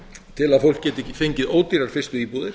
til að fólk geti fengið ódýrar fyrstu íbúðir